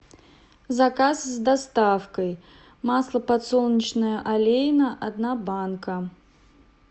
заказ с доставкой масло подсолнечное олейна одна банка